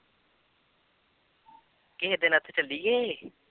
ਕਿਸੇ ਦਿਨ ਉੱਥੇ ਚੱਲੀਏ।